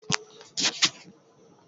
A'a ba a kawo ba.